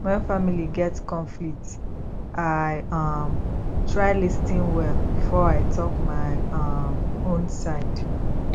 when family get conflict i um try lis ten well before i talk my um own side